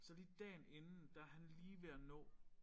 Så lige dagen inden der han lige ved at nå